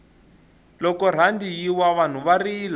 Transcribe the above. loko rhandi yi wa vanhu va rila